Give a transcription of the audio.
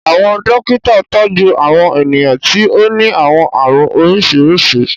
Àwọn dokita tọju Àwọn eniyan ti o ni àwọn àarun oriṣiriṣi